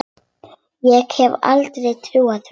Ég hefði aldrei trúað því.